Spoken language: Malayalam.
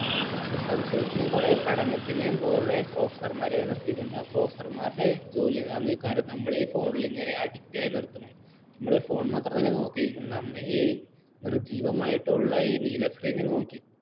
researchers നെ കുറെ പഠനത്തിൻ്റെയും കുറെ professor മാരെ അവർ നിർത്തിയിട്ടുണ്ട് ആ ആ professor മാരുടെ ജോലി എന്താണെന്ന് വെച്ചാൽ നമ്മളെ ഈ phone ൽ ഇങ്ങനെ addict ആയി നിർത്തണം നമ്മൾ ഈ phone മാത്രം തന്നെ നോക്കിയിരിക്കും നമ്മൾ ഈ നിർജ്ജീവമായിട്ടുള്ള ഈ നീല screen ൽ നോക്കി